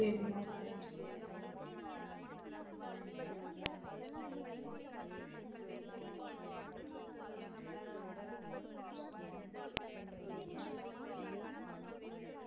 அது எது குடுதாலும் okay தா அது எது best ஆ அதுக்கு combination எது correct ஆ இருக்குமோ அது நீங்களே பாத்து இது பண்ணி குடுத்துருங்க but எனக்கு exact ஆ thirty-five to forty members க்கு பத்தற அளவுக்கு நீங்க